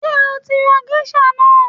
Ṣé o tí ra géṣà náà?